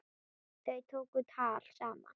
Þau tóku tal saman.